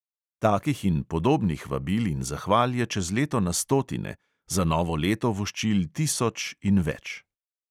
Takih in podobnih vabil in zahval je čez leto na stotine, za novo leto voščil tisoč in več.